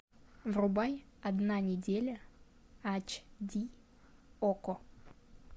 врубай одна неделя ач ди окко